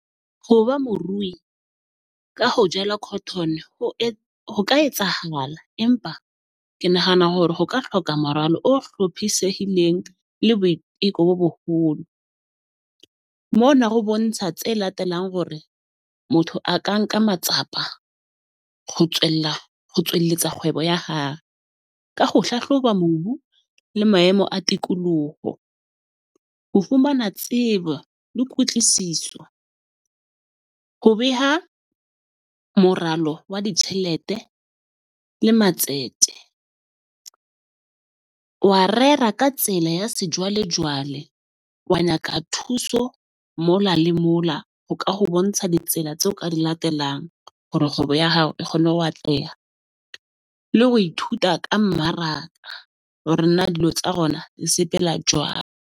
Ho ba morui ka ho jala cotton ho e ho ka etsahala, empa ke nahana hore ho ka hloka moralo o hlophisehileng le boiteko bo boholo. Mona ho bontsha tse latelang hore motho a ka nka matsapa ho tswella ho tswelletsa kgwebo ya hae, ka ho hlahloba mobu le maemo a tikoloho. Ho fumana tsebo le kutlwisiso, ho beha moralo wa ditjhelete le matsete . Wa rera ka tsela ya sejwalejwale, wa nyaka thuso mola le mola ho ka ho bontsha ditsela tseo ka di latelang, hore kgwebo ya hao e kgone ho atleha le ho ithuta ka mmaraka hore na dilo tsa di sepela jwang.